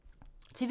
TV 2